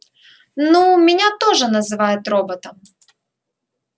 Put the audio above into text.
ну меня тоже называют роботом